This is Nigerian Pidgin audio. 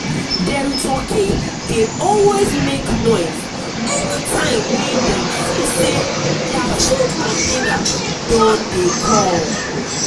na every three three days days for nightpapa dey always use torchlight take check dem cow ear.